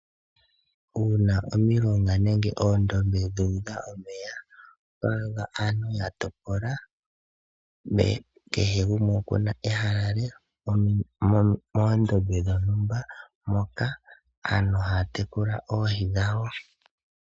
Uuna omilonga nenge oondombe dhu udha omeya, oto adha aantu yatopola, kehe gumwe ena ehala lye moondombe moka aantu haya tekula oohi dhawo.